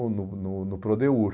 no no no